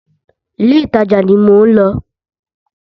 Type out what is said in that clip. Ilé ìtajà ni mò ń lọ.